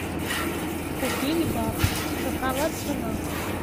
купить баксы какова цена